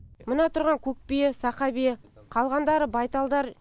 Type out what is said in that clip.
мына тұрған көк бие сақа бие қалғандары байталдар